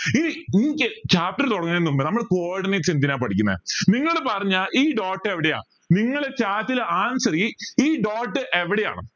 chapter തുടങ്ങുന്നതിന് മുൻപ് നമ്മൾ coordinates എന്തിനാ പഠിക്കുന്നെ നിങ്ങൾ പറഞ്ഞ ഈ dot എവിടെയാ നിങ്ങൾ chat ൽ answer ഈ dot എവിടെയാണ്